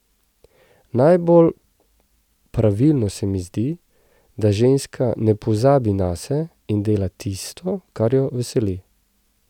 Najbolj pravilno se mi zdi, da ženska ne pozabi nase in dela tisto, kar jo veseli.